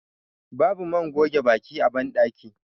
babu man goge baki a bandaki